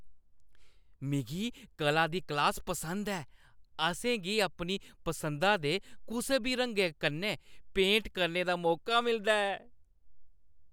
मिगी कला दी क्लास पसंद ऐ। असें गी अपनी पसंदा दे कुसै बी रंगै कन्नै पेंट करने दा मौका मिलदा ऐ।